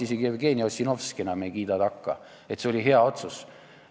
Isegi Jevgeni Ossinovski ei kiida enam takka, et see oli hea otsus.